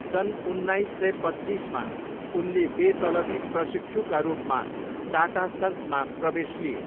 सन् उन्नाइस सय पच्चिसमा उनले बेतलबी प्रशिक्षुका रूपमा टाटा सन्समा प्रवेश लिए।